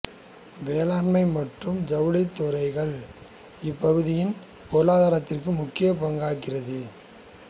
வேளாண்மை மற்றும் ஜவுளித் தொழில்கள் இப்பகுதியின் பொருளாதாரத்திற்கு முக்கியப் பங்களிக்கின்றது